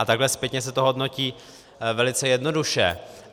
A takhle zpětně se to hodnotí velice jednoduše.